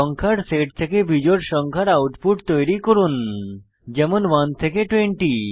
সংখ্যার সেট থেকে বিজোড় সংখ্যার আউটপুট তৈরী করুন যেমন 1 থেকে 20